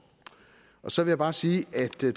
så vil jeg bare sige at det